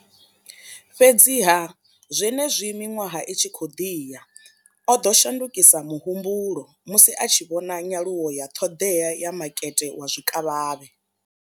Fhedziha, zwenezwi miṅwaha i tshi khou ḓi ya, o ḓo shandukisa muhumbulo musi a tshi vhona nyaluwo ya ṱhoḓea ya makete wa zwikavhavhe.